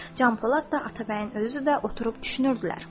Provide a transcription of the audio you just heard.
Can Polad da, Atabəyin özü də oturub düşünürdülər.